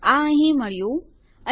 આ અહીં મળ્યું અને